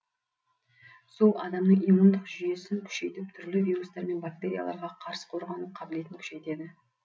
су адамның иммундық жүйесін күшейтіп түрлі вирустар мен бактерияларға қарсы қорғану қабілетін күшейтеді